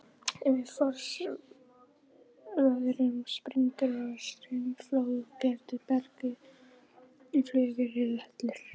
Við frostveðrun springur straumflögótt berg í flögur eða hellur.